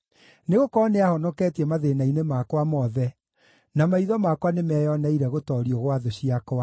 Nĩgũkorwo nĩahonoketie mathĩĩna-inĩ makwa mothe, na maitho makwa nĩmeyoneire gũtoorio gwa thũ ciakwa.